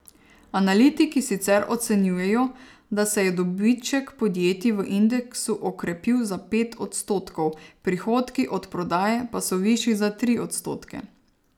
Analitiki sicer ocenjujejo, da se je dobiček podjetij v indeksu okrepil za pet odstotkov, prihodki od prodaje pa so višji za tri odstotke.